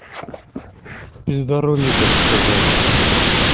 пизда рулю так сказать